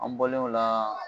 An bɔlen o la